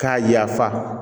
K'a yafa